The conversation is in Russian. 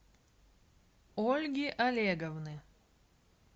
ольги олеговны